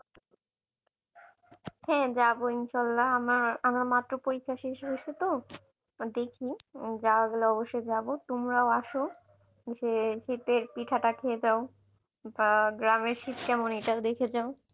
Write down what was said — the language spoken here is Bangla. হ্যাঁ যাবো ইনশাল্লাহ আমার আমার মাত্র পরীক্ষা শেষ হয়েছে তো? দেখি যাওয়া গেলে অবশ্যই যাবো তোমরাও আসো এসে শীতের পিঠা টা খেয়ে যাও বা গ্রামের শীত কেমন এটাও দেখে যাও।